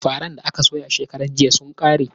Faran da aka soya shekaran jiya sun ƙare.